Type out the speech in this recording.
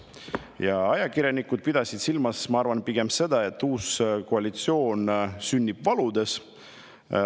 Ja ajakirjanikud pidasid silmas, ma arvan, pigem seda, et uus koalitsioon sünnib valudes.